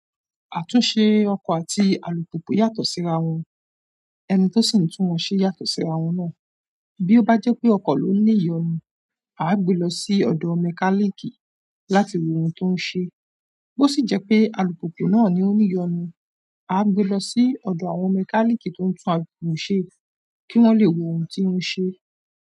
Àtúnṣe ọkọ̀ àti alùpùpù yàtọ̀ síra wọn, ẹni tó sì ń tún wọn ṣe yàtọ̀ síra wọn náà. Bi o ba je pe oko lo ni iyonu, aa gbe lo si odo mekaniki láti wo oun to n se. Bo sì jẹ́ pé alùpùpù náà ni ó ń ní ìyọnu, à á gbe lọ sí ọ̀dọ̀ àwọn mẹkáníìkì tó ń tún alùpùpù ṣe kí wọ́n le wo ohun tí ó ń ṣe.